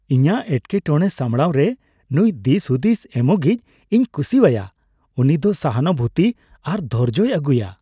ᱤᱧᱟᱹᱜ ᱮᱴᱠᱮᱴᱚᱲᱮ ᱥᱟᱢᱲᱟᱣᱨᱮ ᱱᱩᱭ ᱫᱤᱥᱼᱦᱩᱫᱤᱥ ᱮᱢᱚᱜᱤᱡ ᱤᱧ ᱠᱩᱥᱤᱣᱟᱭᱟ ᱾ ᱩᱱᱤ ᱫᱚ ᱥᱚᱦᱟᱱᱩᱵᱷᱩᱛᱤ ᱟᱨ ᱫᱷᱳᱨᱡᱳᱭ ᱟᱹᱜᱩᱭᱟ ᱾